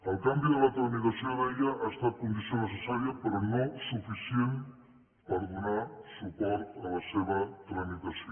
el canvi de la tramitació deia ha estat condició necessària però no suficient per donar suport a la seva tramitació